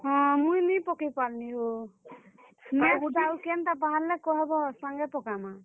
ହଁ, ମୁଇଁ ନିଁ ପକେଇ ପାର୍ ଲି ହୋ ଆଉ କେନ୍ ଟା ବାହାର୍ ଲେ କହେବ ସାଙ୍ଗେ ପକାମା।